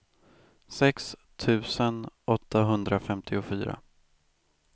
sex tusen åttahundrafemtiofyra